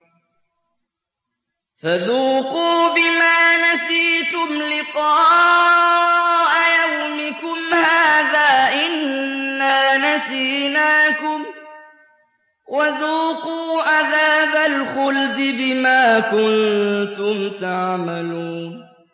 فَذُوقُوا بِمَا نَسِيتُمْ لِقَاءَ يَوْمِكُمْ هَٰذَا إِنَّا نَسِينَاكُمْ ۖ وَذُوقُوا عَذَابَ الْخُلْدِ بِمَا كُنتُمْ تَعْمَلُونَ